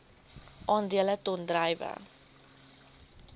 aandele ton druiwe